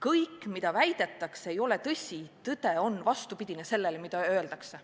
Miski, mida väidetakse, ei ole tõsi, tõde on vastupidine sellele, mida öeldakse.